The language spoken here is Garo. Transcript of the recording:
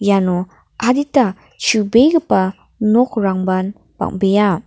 iano adita chubegipa nokrangban bang·bea.